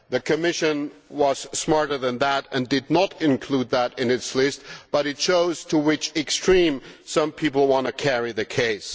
The Commission was smarter than that and did not include that in its list, but it shows to what extremes some people want to carry the case.